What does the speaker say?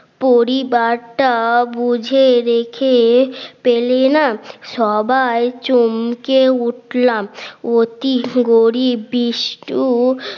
পরিবারটা বুঝে রেখে পেলেনা সবাই চমকে উঠলাম অতি গরিব বিষটু